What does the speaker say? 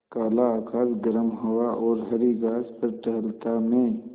काला आकाश गर्म हवा और हरी घास पर टहलता मैं